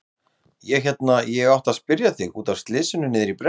Ég hérna. ég átti að spyrja þig. út af slysinu niðri í brekku.